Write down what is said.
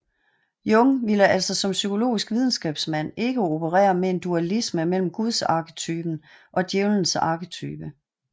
Jung vil altså som psykologisk videnskabsmand ikke operere med en dualisme mellem Gudsarketypen og Djævelens arketype